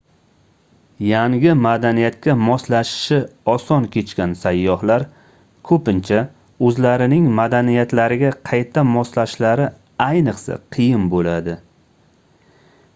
yangi madaniyatga moslashishi osoh kechgan sayyohlar koʻpincha oʻzlarining madaniyatlariga qayta moslashishlari ayniqsa qiyin boʻladi